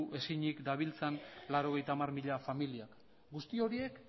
ezinik dabiltzan laurogeita hamar mila familiak guzti horiek